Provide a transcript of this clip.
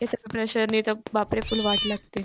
हेसर प्रेशरने तर बापरे फुल्ल वाट लागते.